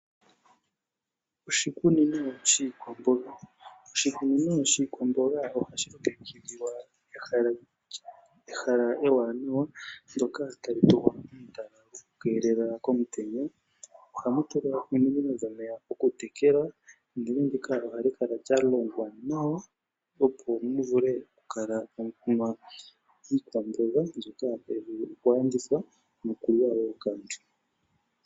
Oshikunino shiikwamboga. Oshikunino shiikwamboga ohashi longekidhilwa ehala ewanawa ndoka tali tulwa etala lyokukeelela komutenya . Ohamu tulwa ominino dhomeya okutekela ndele ndika ohali kala lya longwa nawa opo mu vule oku kala tamu kunwa iikwamboga mbyoka tayi vulu okulandithwa nokuliwa wo kaantu.